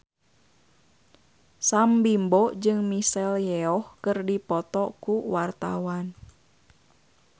Sam Bimbo jeung Michelle Yeoh keur dipoto ku wartawan